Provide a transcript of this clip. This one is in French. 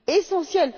essentiel.